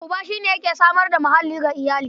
Uba shi yake samar da muhalli ga iyali.